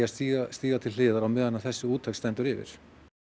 stíga stíga til hliðar á meðan þessi úttekt stendur yfir